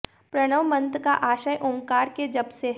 प्रणव मंत्र का आशय ओंकार के जप से है